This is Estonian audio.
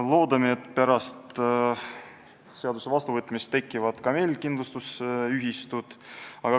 Loodame, et pärast seaduse vastuvõtmist tekivad ka meil kindlustusühistud.